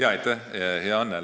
Aitäh, hea Anne!